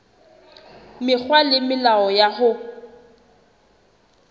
mekgwa le melao ya ho